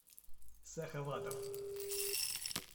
сахаватов